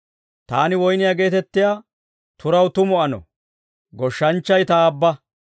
«Taani woyniyaa geetettiyaa turaw tumu ano; goshshanchchay Ta Aabba.